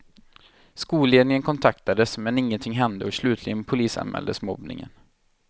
Skolledningen kontaktades men inget hände och slutligen polisanmäldes mobbningen.